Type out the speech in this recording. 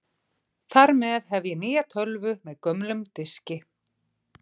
Þar með hef ég nýja tölvu með gömlum diski.